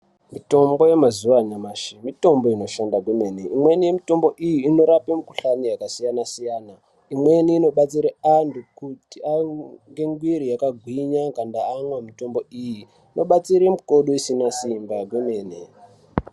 Mitombo yemazuwa anyamashi ,mitombo inoshanda kwemene, imweni yemitombo iyi inorape mikhuhlani yakasiyana siyana imweni inobatsire anhu kuti aite muiri dzakagwinya kana amwa mitombo iyi , inobatsire makodo asina simba kana amwa mitombo iyi.